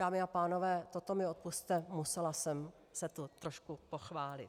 Dámy a pánové, toto mi odpusťte, musela jsem se tu trošku pochválit.